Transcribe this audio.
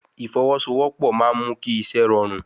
Ìfọwọ́sowọ́pọ̀ máa ń mú kí iṣẹ́ rọrùn